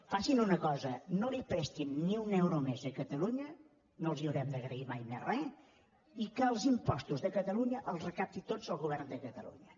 facin una cosa no li prestin ni un euro més a catalunya no els haurem d’agrair mai més re i que els impostos de catalunya els recapti tots els govern de catalunya